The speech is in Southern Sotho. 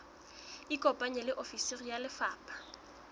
ikopanye le ofisi ya lefapha